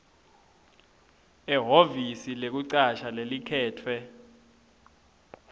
ehhovisi lekucasha lelikhetfwe